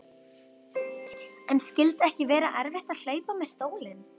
En skyldi ekki vera erfitt að hlaupa með stólinn?